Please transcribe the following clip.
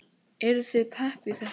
Eruð þið pepp í þetta?